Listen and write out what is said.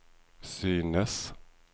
synes